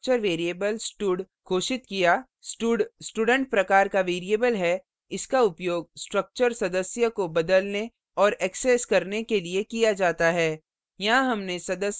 अब हमने एक structure variable stud घोषित किया stud student प्रकार का variable है इसका उपयोग structure सदस्य members को बदलने और access करने के लिए किया जाता है